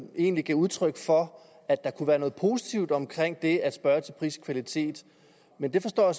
egentlig gav udtryk for at der kunne være noget positivt omkring det at spørge til pris og kvalitet men jeg forstår